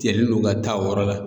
Jɛlen don ka taa o yɔrɔ la